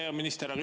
Hea minister!